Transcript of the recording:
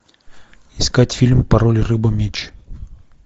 искать фильм пароль рыба меч